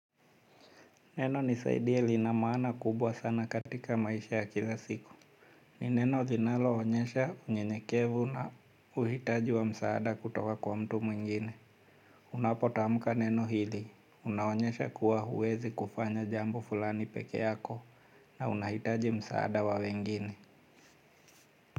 Neno nisaidie lina maana kubwa sana katika maisha ya kila siku. Ni neno linaloonyesha unyenyekevu na uhitaji wa msaada kutoka kwa mtu mwingine. Unapotamka neno hili. Unaonyesha kuwa huwezi kufanya jambo fulani pekee yako na unahitaji msaada wa wengine.